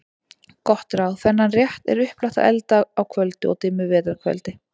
Gott ráð: Þennan rétt er upplagt að elda á köldu og dimmu vetrar kvöldi.